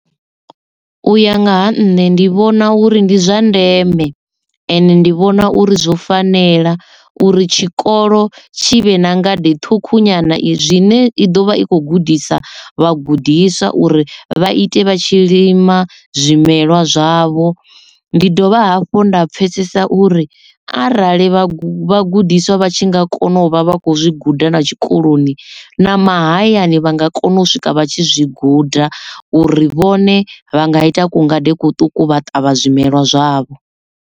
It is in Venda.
Uya nga ha nṋe ndi vhona uri ndi zwa ndeme, ende ndi vhona uri zwo fanela uri tshikolo tshi vhe na ngade ṱhukhu nyana i zwine i ḓo vha i khou gudisa vhagudiswa uri vha ite vha tshi lima zwimelwa zwavho. Ndi dovha hafhu nda pfesesa uri arali vha vhagudiswa vha tshi nga kona u vha vha kho zwi guda na tshikoloni na mahayani vha nga kona u swika vha tshi zwi guda uri vhone vha nga ita ku ngade kuṱuku vha ṱavha zwimelwa zwavho.